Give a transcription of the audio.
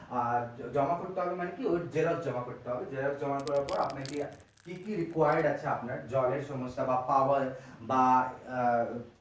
আর জমা করতে হবে মানে কি ওটার xerox জমা করতে হবে জমা করার পর আপনাকে কি কি required আছে আপনার জলের সমস্যা বা power বা আহ